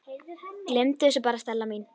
Gleymdu þessu bara, Stella mín.